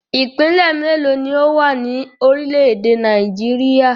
Ìpínlẹ̀ mélòó ni ó wà ní orílẹ̀-èdè Nàìjíríà?